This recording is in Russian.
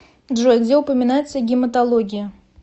джой где упоминается гематология